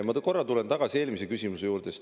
Ma korra tulen tagasi eelmise küsimuse juurde.